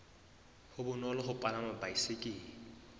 be bonolo ho palama baesekele